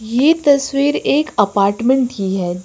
ये तस्वीर एक अपार्टमेंट कि है।